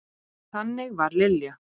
Þannig var Lilja.